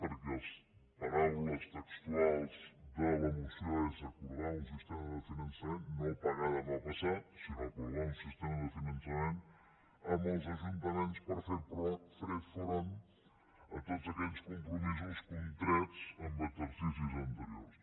perquè paraules textuals de la moció és acordar un sistema de finançament no pagar demà passat sinó acordar un sistema de finançament amb els ajuntaments per fer front a tots aquells compromisos contrets en exercicis anteriors